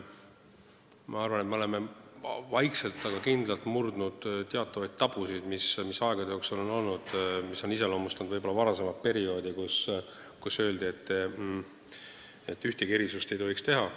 Ma arvan, et me oleme vaikselt, aga kindlalt murdnud teatavaid tabusid, mis aegade jooksul on olnud ja mis on iseloomustanud võib-olla varasemat perioodi, kui öeldi, et ühtegi erisust ei tohiks teha.